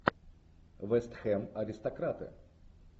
вест хэм аристократы